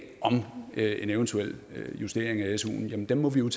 om en eventuel justering af suen må vi jo